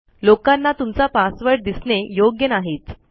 लोकांना तुमचा पासवर्ड दिसणे योग्य नाहीच